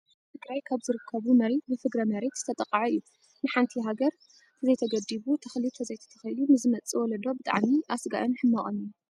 ኣብ ትግራይ ካብ ዝርከቡ መሬት ብፍግረ መሬት ዝተጠቀ እዩ። ንሓንቲ ሃገር ተዘይተገዲቡ ተክሊ ተዘይተተኪሉ ንዝመፅእ ወለዶ ብጣዕሚ ኣስጋኢን ሕማቅን እዩ።